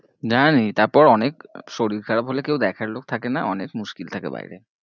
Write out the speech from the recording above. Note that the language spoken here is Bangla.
জানি, তারপর অনেক শরীর খারাপ হলে কেউ দেখার লোক থাকে না অনেক মুশকিল থাকে বায়েরে।